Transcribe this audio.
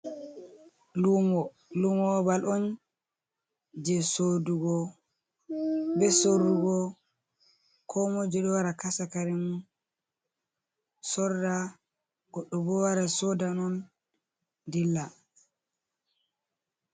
Lumo ɓaɓal on je soɗugo ɓe sorrugo, komoijo ɗo wara kasa karemum sorra goɗɗo ɓo wara soɗa non ɗilla.